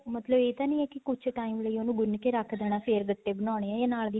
ਮਤਲਬ ਇਹ ਤਾਂ ਨਹੀਂ ਹੈ ਕੁੱਝ time ਲਈ ਉਹਨੂੰ ਗੁੰਨ ਕੇ ਰੱਖ ਦੇਣਾ ਹੈ ਫ਼ੇਰ ਗੱਟੇ ਬਣਾਉਣੇ ਹੈ ਜਾਂ ਨਾਲ ਦੀ ਨਾਲ